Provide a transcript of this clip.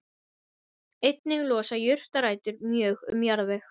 Einnig losa jurtarætur mjög um jarðveg.